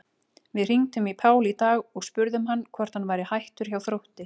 Við hringdum í Pál í dag og spurðum hann hvort hann væri hættur hjá Þrótti?